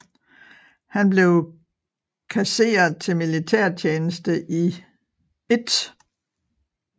Han blev kasseret til militærtjeneste i 1